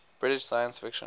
british science fiction